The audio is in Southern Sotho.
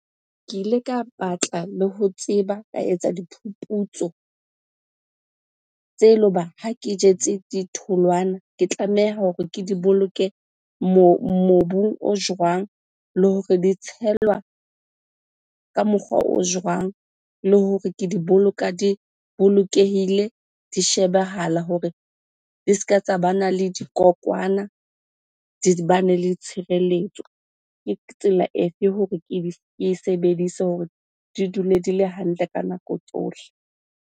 Ke ile ka batla le ho tseba, ka etsa diphuputso tse le hoba ha ke jetse ditholwana ke tlameha hore ke di boloke mobung o jwang? Le hore di tshelwa ka mokgwa o jwang? Le hore ke di boloka di bolokehile, di shebehala hore di se ka tsa bana le dikokwana, di bane le tshireletso. Ke tsela efe hore ke di, ke e sebedise hore di dule di le hantle ka nako tsohle?